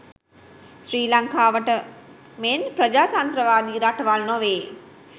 ශ්‍රී ලංකාව මෙන් ප්‍රජාතන්ත්‍රවාදී රටවල් නොවේ.